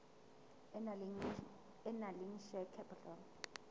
e nang le share capital